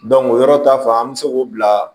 o yɔrɔ ta fan an bɛ se k'o bila